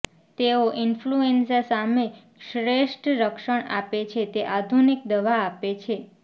તેઓ ઈન્ફલ્યુએન્ઝા સામે શ્રેષ્ઠ રક્ષણ આપે છે તે આધુનિક દવા આપે છે